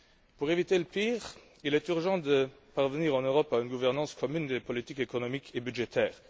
Pour éviter le pire, il est urgent de parvenir en Europe à une gouvernance commune des politiques économiques et budgétaires.